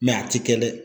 Mɛ a tɛ kɛ dɛ